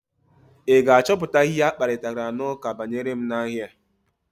Ị ga-achọpụta ihe akparitara n'ụka banyere m n'ahịa?